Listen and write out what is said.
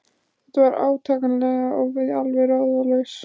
Þetta var átakanlegt og við alveg ráðalaus.